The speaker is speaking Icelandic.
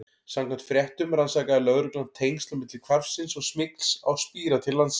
Samkvæmt fréttum rannsakaði lögreglan tengsl milli hvarfsins og smygls á spíra til landsins.